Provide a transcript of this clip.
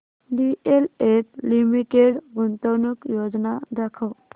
DLF limited गुंतवणूक योजना दाखव